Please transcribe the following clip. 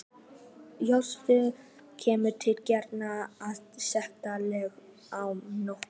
Hjörtur: Kemur til greina að setja lög á lækna?